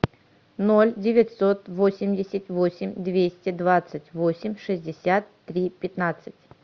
ноль девятьсот восемьдесят восемь двести двадцать восемь шестьдесят три пятнадцать